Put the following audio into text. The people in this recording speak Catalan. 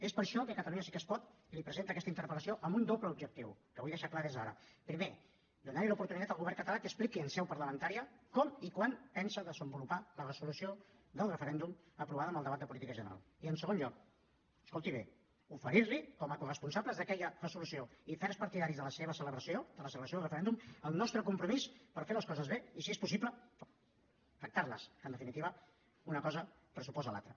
és per això que catalunya sí que es pot li presenta aquesta interpel·lació amb un doble objectiu que vull deixar clar des d’ara primer donar l’oportunitat al govern català que expliqui en seu parlamentària com i quan pensa desenvolupar la resolució del referèndum aprovada en el debat de política general i en segon lloc escolti bé oferir li com a corresponsables d’aquella resolució i ferms partidaris de la celebració del referèndum el nostre compromís per fer les coses bé i si és possible pactar les que en definitiva una cosa pressuposa l’altra